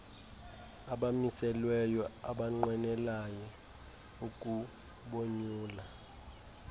abamiselweyo abanqwenela ukubonyula